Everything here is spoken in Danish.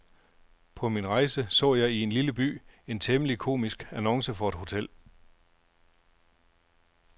På min rejse så jeg i en lille by en temmelig komisk annonce for et hotel.